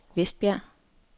Vestbjerg